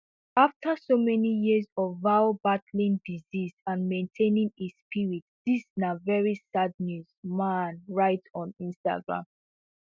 after so many years of val battling disease and maintaining his spirit dis na very sad news mann write on instagram